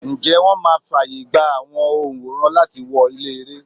Ǹjẹ́ wón máa fàyègba àwọn onworan láti wọ ilé-ère?